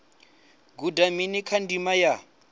guda mini kha ndima ya